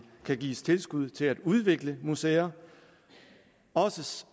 kan gives tilskud til at udvikle museer også